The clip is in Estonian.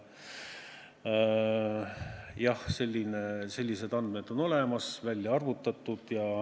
Jah, sellised andmed on olemas, välja arvutatud.